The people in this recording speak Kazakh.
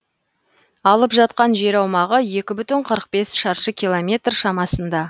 алып жатқан жер аумағы екі бүтін қырық бес шаршы километр шамасында